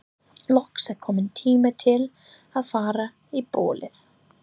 Loks er kominn tími til að fara í bólið.